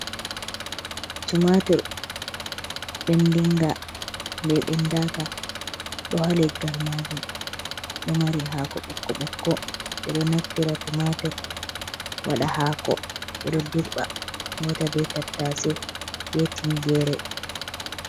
"Tumatur" ɓendinga be ɓendaka ɗo ha leggal majum ɗo mari hako ɓokko ɓokko ɓeɗo naftira tumatur waɗa hako ɓeɗo dirba hauta be tattase be tingere.